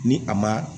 Ni a ma